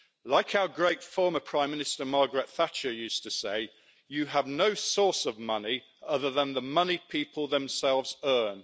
Like our great former Prime Minister Margaret Thatcher used to say, you have no source of money other than the money people themselves earn.